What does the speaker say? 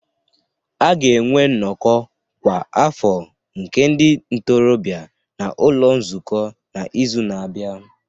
A ga-enwe nnọkọ kwa afọ nke ndị ntorobịa n'ụlọ nzukọ n'izu na-abịa